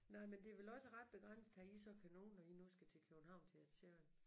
Nej men det er vel også ret begrænset hvad I så kan nå når I nu skal til København til Ed Sheeran